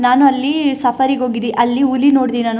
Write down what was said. ನಾನು ಅಲ್ಲಿ ಸಫಾರಿಗೆ ಹೋಗಿದ್ದಿ ಅಲ್ಲಿ ಹುಲಿ ನೋಡ್ದಿ ನಾನು .